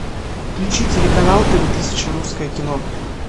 включи телеканал тв тысяча русское кино